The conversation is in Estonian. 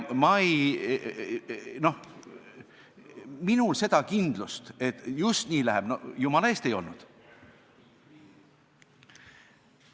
Minul seda kindlust, et just nii läheb, ei olnud – no jumala eest ei olnud!